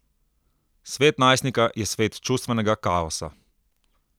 Svet najstnika je svet čustvenega kaosa.